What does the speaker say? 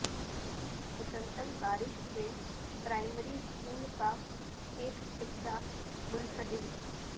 مسلسل بارش سے پرائمری اسکول کا ایک حصہ منہدم